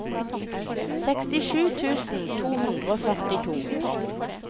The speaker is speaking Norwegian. sekstisju tusen to hundre og førtito